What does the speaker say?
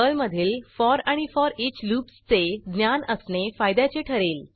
पर्लमधील फॉर आणि for each लूप्सचे ज्ञान असणे फायद्याचे ठरेल